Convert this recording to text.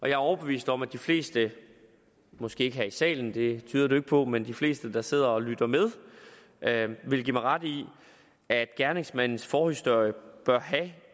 jeg er overbevist om at de fleste måske ikke her i salen det tyder det ikke på men de fleste der sidder og lytter med vil give mig ret i at gerningsmandens forhistorie bør have